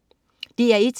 DR1: